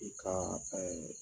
I ka